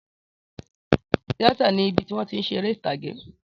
Tíátà ni ibi tí wón ti ń ṣe eré ìtàgé